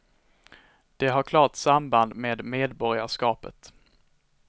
Det har klart samband med medborgarskapet.